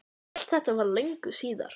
En allt þetta var löngu síðar.